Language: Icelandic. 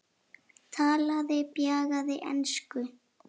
Talaði bjagaða ensku: